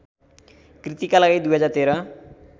कृतिका लागि २०१३